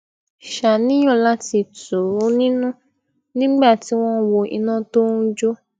ṣàníyàn lati tù ú nínú nígbà tí won n wo ina to n jo